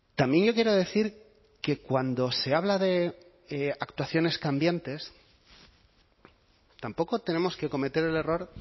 también yo quiero decir que cuando se habla de actuaciones cambiantes tampoco tenemos que cometer el error